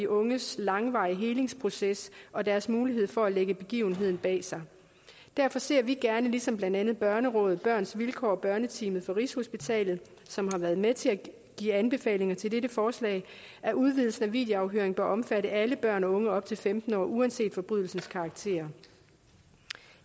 unges langvarige helingsproces og deres mulighed for at lægge begivenheden bag sig derfor ser vi gerne ligesom blandt andet børnerådet børns vilkår og børneteamet fra rigshospitalet som har været med til at give anbefalinger til dette forslag at udvidelsen af videoafhøring bør omfatte alle børn og unge op til femten år uanset forbrydelsens karakter